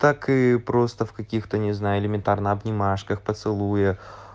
так и просто в каких-то не знаю элементарно обнимашках поцелуя